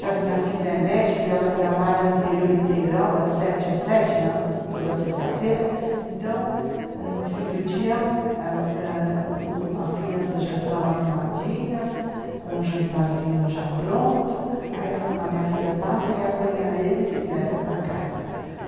Já que minha filha é médica e ela trabalha em período integral, das sete às sete, na, toda sexta-feira, então, no fim do dia, as crianças já estão arrumadinhas, com o jantarzinho já pronto, aí a minha filha passa e apanha eles e leva para casa.